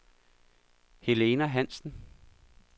Helena Hansen